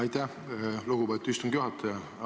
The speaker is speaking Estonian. Aitäh, lugupeetud istungi juhataja!